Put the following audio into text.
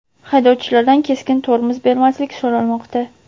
haydovchilardan keskin tormoz bermaslik so‘ralmoqda.